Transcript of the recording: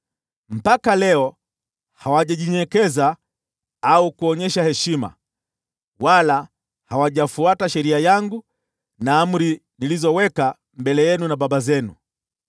Mpaka leo hawajajinyenyekeza au kuonyesha heshima, wala hawajafuata sheria yangu na amri nilizoweka mbele yenu na baba zenu.